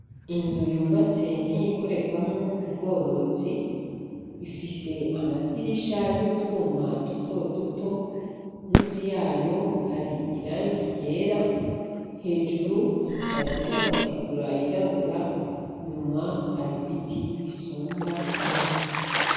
Inzu yubatse nkiyikorerwamwo ubworozi, ifise amadirisha y'utwuma duto duto, musi yayo hari irangi ryera, hejuru hasakajwe n'amategura yirabura, inyuma hari ibiti bisumba inzu.